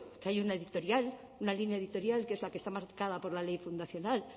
que hay una editorial una línea editorial que es la que está marcada por la ley fundacional